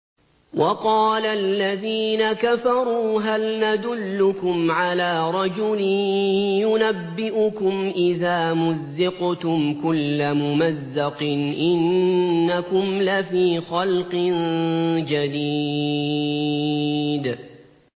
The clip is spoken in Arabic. وَقَالَ الَّذِينَ كَفَرُوا هَلْ نَدُلُّكُمْ عَلَىٰ رَجُلٍ يُنَبِّئُكُمْ إِذَا مُزِّقْتُمْ كُلَّ مُمَزَّقٍ إِنَّكُمْ لَفِي خَلْقٍ جَدِيدٍ